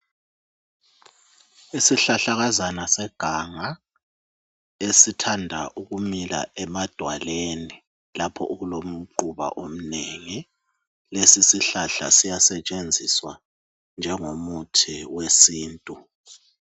Isihlahlakazana seganga esithanda ukumila emadwaleni lapho okulomquba omnengi lesi sihlahla siyasetshenziswa njengomuthi wesintu.